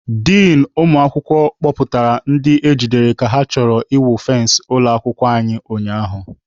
Din ụmụ akwụkwọ kpọpụtara ndị e jidere ka ha chọrọ ịwụ fensị ụlọ akwụkwọ ụnyaahụ.